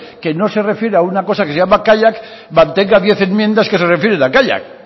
que no se refiere a una cosa que se llama kaiak mantenga diez enmiendas que se refieren a kaiak